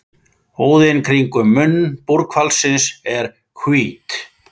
Húðin kringum munn búrhvalsins er hvít.